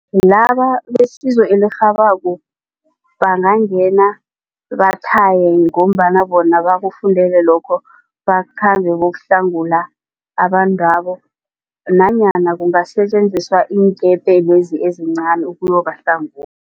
Laba besizo elirhabako bangangena bathaye ngombana bona bakufundele lokho bakhambe bayokuhlangula abantwabo. Nanyana kungasetjenziswa iinkepe lezi ezincani